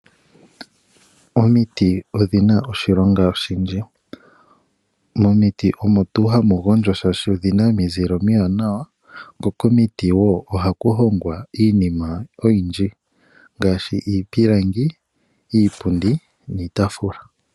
Omiti odhina oshilonga oshindji . Momiti ohamu gondwa shaashi omuna omizile omiwanawa , ko komiti wo ohaku hongwa iinima oyindji ngaashi iipilangi, iipundi niitaafula.